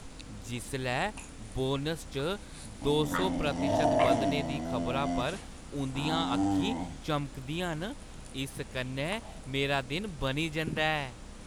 जिसलै बोनस च दो सौ प्रतिशत बधने दी खबरा पर उंʼदियां अक्खीं चमकदियां न, इस कन्नै मेरा दिन बनी जंदा ऐ ।